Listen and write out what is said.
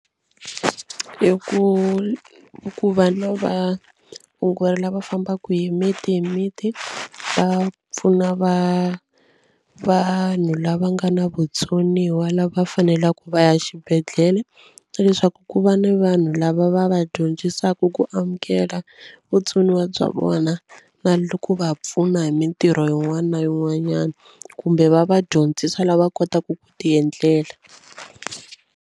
I ku i ku lava fambaka hi miti hi miti va pfuna va vanhu lava nga na vutsoniwa lava faneleke va ya xibedhlele leswaku ku va na vanhu lava va va dyondzisaka ku amukela vutsoniwa bya vona na ku va pfuna hi mitirho yin'wana na yin'wanyana kumbe va va dyondzisa lava kotaka ku ti endlela.